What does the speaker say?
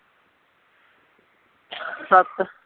ਸੱਤ